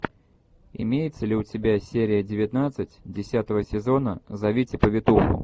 имеется ли у тебя серия девятнадцать десятого сезона зовите повитуху